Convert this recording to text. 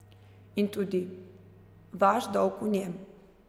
In tudi vaš dolg v njem.